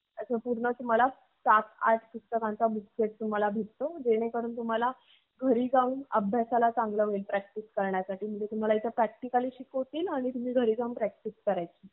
आसा पूर्ण तुह्माला सात आठ पुस्तके चा book set तुह्माला भेटतो. जेणेकरुन तुह्माला अभ्यास सती चांगल practice होइल. म्हणजे तुम्ही इथे practically शिकाल.